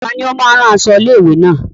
Tani ó máa ń rán aṣọ ilé-ìwé náà?